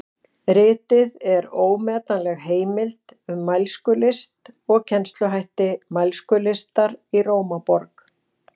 Ritið er ómetanleg heimild um mælskulist og kennsluhætti mælskulistar í Rómaborg.